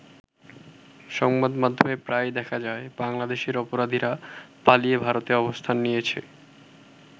সংবাদ মাধ্যমে প্রায়ই দেখা যায় বাংলাদেশের অপরাধীরা পালিয়ে ভারতে অবস্থান নিয়েছে।